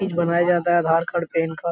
चीज़ बनाया जाता है आधार कार्ड पेन कार्ड --